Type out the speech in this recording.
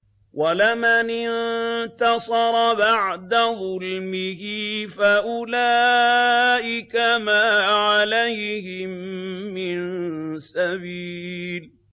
وَلَمَنِ انتَصَرَ بَعْدَ ظُلْمِهِ فَأُولَٰئِكَ مَا عَلَيْهِم مِّن سَبِيلٍ